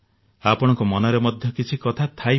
ଆପଣଙ୍କ ମନରେ ମଧ୍ୟ କିଛି କଥା ଥାଇପାରେ